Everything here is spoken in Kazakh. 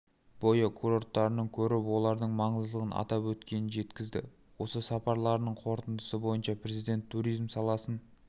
бойы курорттарын көріп олардың маңыздылығын атап өткенін жеткізді осы сапарларының қорытындысы бойынша президент туризм саласын